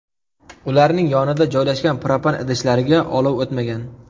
Ularning yonida joylashgan propan idishlariga olov o‘tmagan.